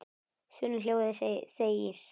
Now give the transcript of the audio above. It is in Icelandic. þunnu hljóði þegir